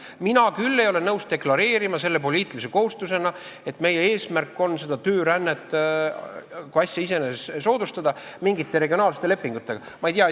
Mina küll ei ole nõus deklareerima poliitilise kohustusena, et meie eesmärk on töörännet kui asja iseeneses mingite regionaalsete lepingutega soodustada.